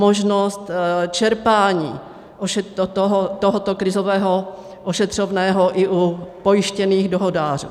Možnost čerpání tohoto krizového ošetřovného i u pojištěných dohodářů.